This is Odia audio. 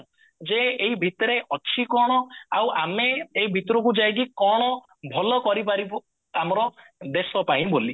ଯେ ଏଇ ଭିତରେ ଅଛି କଣ ଆଉ ଆମେ ଏଇ ଭିତରକୁ ଯାଇକି କଣ ଭଲ କରିପାରିବୁ ଆମର ଦେଶ ପାଇଁ ବୋଲି